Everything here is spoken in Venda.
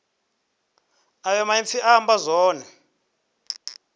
ayo maipfi a amba zwone